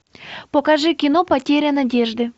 покажи кино потеря надежды